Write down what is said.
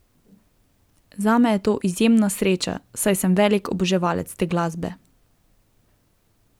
Zame je to izjemna sreča, saj sem velik oboževalec te glasbe.